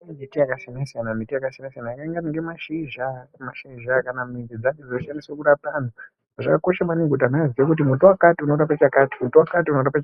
Kune mbiti yakasiyana siyana yakaita mashizha kana midzi dzacho dzoshandiswa kurapa antu zvakakosha maningi kuti vantu vazive kuti muti wakati unorapa